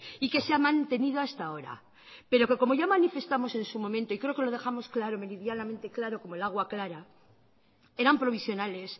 y que se ha mantenido hasta ahora pero que como ya manifestamos en su momento y creo que lo dejamos claro meridianamente claro como el agua clara eran provisionales